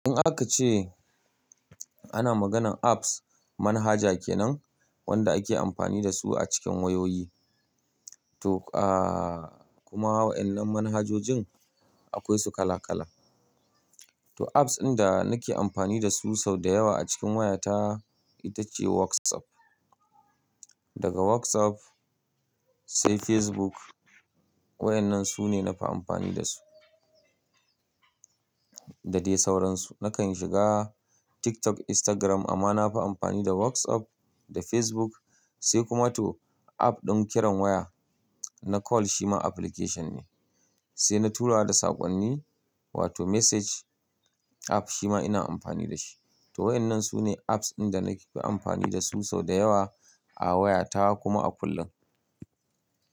In aka ce ana maganan apps, manhaja kenan wanda ake amfani dasu a cikin wayoyi. To, ahhh kuma wa'yannan manhajojin akwai su kala kala. To apps inda nake amfani dasu sau da yawa a cikin wayata, ita ce WhatsApp. Daga WhatsApp, sai Facebook. Wa'yannan sune nafi amfani dasu. Da dai sauransu. Nakan shiga TikTok, Instagram amma nafi amfani da WhatsApp da Facebook sai kuma to app din kiran waya, na call shi ma application ne. Sai na tura da sakonni, wato message app shi ma ina amfani da shi. To wa'yannan sune apps inda nake fi amfani dasu sau da yawa a wayata kuma a kullum.